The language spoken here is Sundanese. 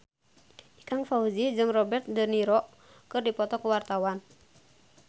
Ikang Fawzi jeung Robert de Niro keur dipoto ku wartawan